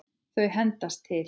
Þau hendast til.